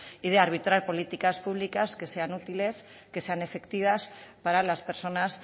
y de arbitrar políticas públicas que sean utilices que sean efectivas para las personas